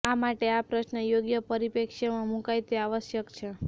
આ માટે આ પ્રશ્ર્ન યોગ્ય પરિપ્રેક્ષ્યમાં મુકાય તે આવશ્યક છે